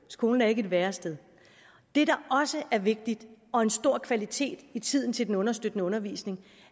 skolen er ikke et værested det der også er vigtigt og en stor kvalitet i tiden til den understøttende undervisning